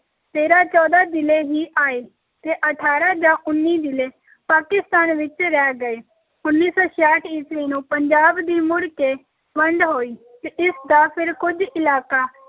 ਤੇਰਾਂ ਚੌਦਾਂ ਜ਼ਿਲ੍ਹੇ ਹੀ ਆਏ ਤੇ ਅਠਾਰਾਂ ਜਾਂ ਉੱਨੀ ਜ਼ਿਲ੍ਹੇ ਪਾਕਿਸਤਾਨ ਵਿੱਚ ਰਹਿ ਗਏ, ਉੱਨੀ ਸੌ ਛਿਆਹਠ ਈਸਵੀ ਨੂੰ ਪੰਜਾਬ ਦੀ ਮੁੜ ਕੇ ਵੰਡ ਹੋਈ ਤੇ ਇਸ ਦਾ ਫਿਰ ਕੁੱਝ ਇਲਾਕਾ